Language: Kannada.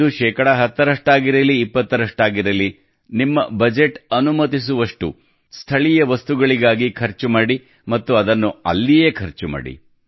ಅದು ಶೇಕಡಾ 10 ಆಗಿರಲಿ 20 ಆಗಿರಲಿ ನಿಮ್ಮ ಬಜೆಟ್ ಅನುಮತಿಸುವಷ್ಟು ಸ್ಥಳೀಯ ವಸ್ತುಗಳಿಗಾಗಿ ಖರ್ಚು ಮಾಡಿ ಮತ್ತು ಅದನ್ನು ಅಲ್ಲಿಯೇ ಖರ್ಚು ಮಾಡಿ